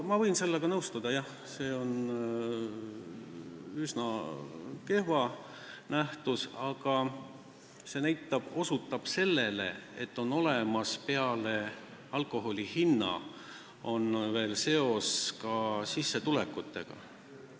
Ma võin sellega nõustuda: jah, see on üsna kehva nähtus, aga see osutab tõsiasjale, et sellel on peale alkoholi hinna seos ka sissetulekutega.